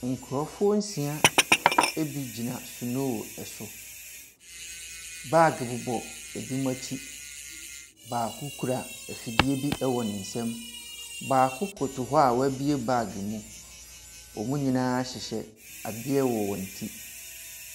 Nkrɔfoɔ nsia ebi gyina sonoo so. Baage bobɔ ebinom akyi. Baako kura afidie bi wɔ wɔn nsam. Baako koto hɔ a wɔabue bag mu. Wɔn nyinaa hyehyɛ adeɛ wɔ wɔn ti.